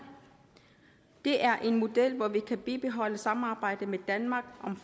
det er en model hvor vi kan bibeholde samarbejdet med danmark om